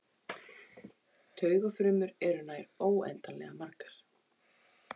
Taugafrumur eru nær óendanlega margar.